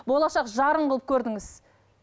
болашақ жарың қылып көрдіңіз